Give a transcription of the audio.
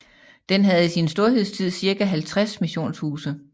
Den havde i sin storhedstid cirka 50 missionshuse